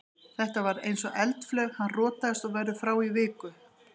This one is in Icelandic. Þetta var eins og eldflaug, hann rotaðist og verður frá í viku.